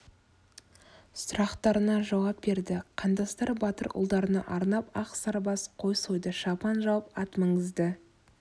сұрақтарына жауап берді қандастар батыр ұлдарына арнап ақ сарбас қой сойды шапан жауып ат мінгізді